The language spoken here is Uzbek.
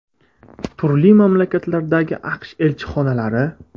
Turli mamlakatlardagi AQSh elchixonalari .